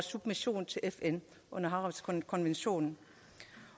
submission til fn under havretskonventionen